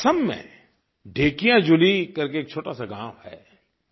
असम में धेकियाजुली करके एक छोटा सा गाँव है